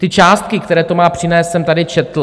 Ty částky, které to má přinést, jsem tady četl.